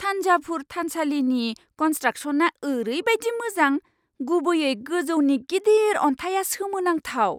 थान्जाभुर थानसालिनि कन्सट्राकस'नआ ओरैबायदि मोजां, गुबैयै गोजौनि गिदिर अन्थाइया सोमोनांथाव!